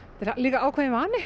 ákveðin vani